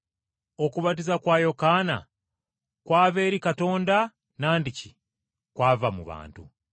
Okubatiza kwa Yokaana kwava eri Katonda nandiki kwava mu bantu?”